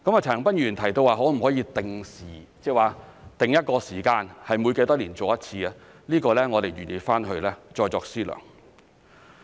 陳恒鑌議員提到可否定下時間，每多少年做一次，這方面我們會再作思量。